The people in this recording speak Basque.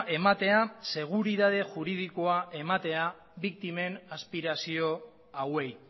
ematea seguritate juridikoa ematea biktimen aspirazio hauei